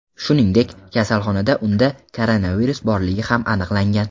Shuningdek, kasalxonada unda koronavirus borligi ham aniqlangan.